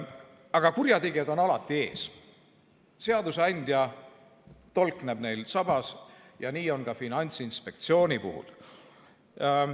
Aga kurjategijad on alati ees ja seadusandja tolkneb neil sabas, nii on ka Finantsinspektsiooni puhul.